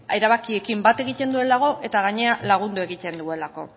erabakiekin bat egiten duelako eta gainera lagundu egiten duelako